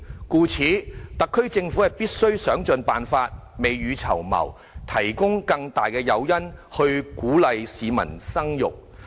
故此，特區政府必須想盡辦法，未雨綢繆，提供更大的誘因，鼓勵市民生育。